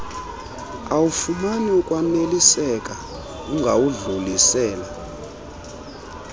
awufumani ukwaneliseka ungawudlulisela